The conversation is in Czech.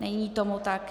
Není tomu tak.